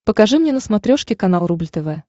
покажи мне на смотрешке канал рубль тв